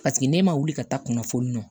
Paseke ne ma wuli ka taa kunnafoni